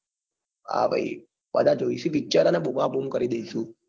હા ભાઈ બધા જોઇશુ picture અને બૂમ બૂમ કરી દઇશુ.